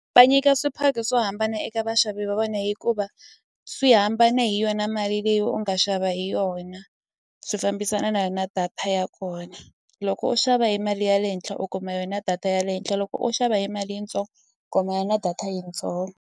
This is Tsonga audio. Va nyika swiphato swo hambana eka vaxavi va vona hikuva swi hambane hi yona mali leyi u nga xava hi yona swi fambisana na yona data ya kona loko u xava hi mali ya le henhla u kuma yona data ya le henhla loko u xava hi mali yitsongo na yona data yitsongo.